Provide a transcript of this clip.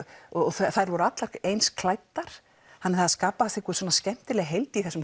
þær voru allar eins klæddar það skapaðist skemmtileg heild í þessum